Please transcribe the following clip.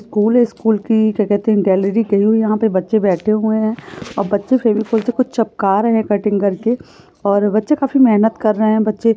school है school की जगह यहा पे बच्चे बैठे हुए है और बच्चे फेविकोल से कुछ चिपका रहे है कटिंग करके और ये बच्चे काफी मेहनत कर रहे है बच्चे--